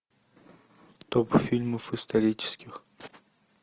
топ фильмов исторических